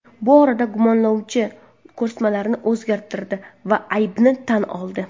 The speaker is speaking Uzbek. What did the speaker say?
Bu orada gumonlanuvchi ko‘rsatmalarini o‘zgartirdi va aybini tan oldi.